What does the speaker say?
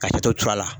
Ka toto cɔrɔ a la